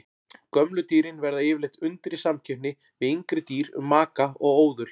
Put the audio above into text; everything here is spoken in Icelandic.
Gömlu dýrin verða yfirleitt undir í samkeppni við yngri dýr um maka og óðul.